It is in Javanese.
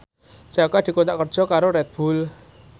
Jaka dikontrak kerja karo Red Bull